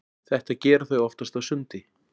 Þetta gera þau oftast á sundi.